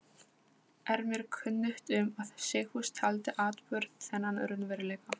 Er mér kunnugt um, að Sigfús taldi atburð þennan raunveruleika.